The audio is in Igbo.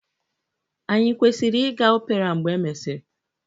Anyị kwesịrị ịga opera mgbe e mesịrị?